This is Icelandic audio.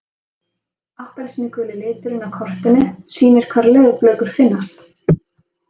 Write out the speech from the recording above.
Appelsínuguli liturinn á kortinu sýnir hvar leðurblökur finnast.